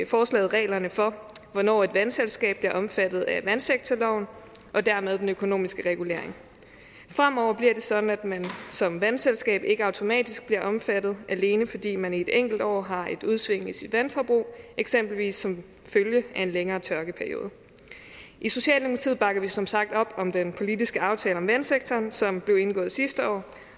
forslaget reglerne for hvornår et vandselskab bliver omfattet af vandsektorloven og dermed den økonomiske regulering fremover bliver det sådan at man som vandselskab ikke automatisk bliver omfattet alene fordi man i et enkelt år har et udsving i sit vandforbrug eksempelvis som følge af en længere tørkeperiode i socialdemokratiet bakker vi som sagt op om den politiske aftale om vandsektoren som blev indgået sidste år